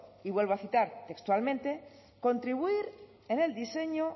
y vuelvo a citar textualmente contribuir en el diseño